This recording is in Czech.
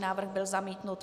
Návrh byl zamítnut.